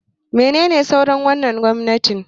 Menene sunar wannan gwamnatin?